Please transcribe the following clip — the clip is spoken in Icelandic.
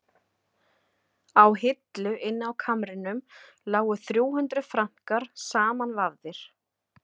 Á hillu inni á kamrinum lágu þrjú hundruð frankar samanvafðir.